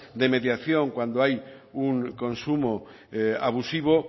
de mediación cuando hay un consumo abusivo